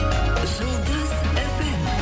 жұлдыз фм